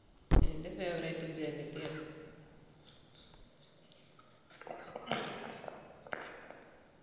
എൻ്റെ favourite ജഗതിയാണ്